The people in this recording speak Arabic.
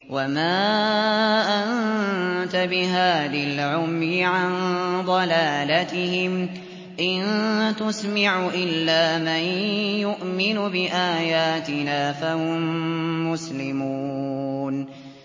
وَمَا أَنتَ بِهَادِي الْعُمْيِ عَن ضَلَالَتِهِمْ ۖ إِن تُسْمِعُ إِلَّا مَن يُؤْمِنُ بِآيَاتِنَا فَهُم مُّسْلِمُونَ